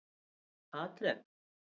Patrek